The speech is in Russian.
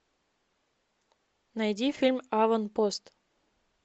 найди фильм аванпост